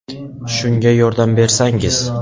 Shunga yordam bersangiz.